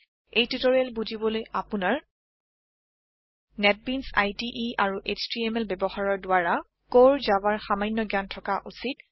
এই টিউটৰিয়েল বুজিবলৈ আপুনাৰ নেটবিনছ ইদে আৰু HTMLব্যৱহাৰৰ দ্ৱাৰা কোৰ জাভা ৰ সামান্য জ্ঞান থকা উচিত